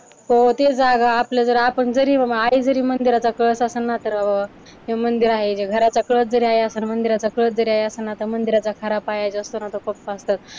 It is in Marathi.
हो ते आपलं जर आपण जरी बाबा आई जरी मंदिराचा कळस असंल ना, तर हे मंदिर आहे, घराचा कळस जरी आई असंल, मंदिराचा कळस जरी आई असंल तर मंदिराचा खरा पाया जो असतो ना तो पप्पा असतात.